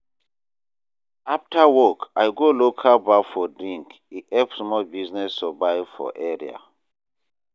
After work, I go local bar for drink, e help small business survive for area.